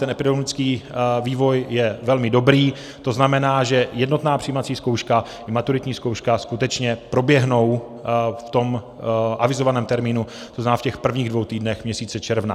Ten epidemiologický vývoj je velmi dobrý, to znamená, že jednotná přijímací zkouška i maturitní zkouška skutečně proběhnou v tom avizovaném termínu, to znamená v těch prvních dvou týdnech měsíce června.